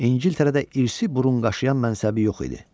İngiltərədə irsi burunqaşıyan mənsəbi yox idi.